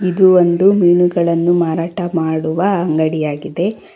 ಇದು ಒಂದು ಮೀನುಗಳನ್ನು ಮಾರಾಟ ಮಾಡುವ ಅಂಗಡಿಯಾಗಿದೆ.